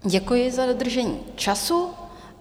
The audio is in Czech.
Děkuji za dodržení času.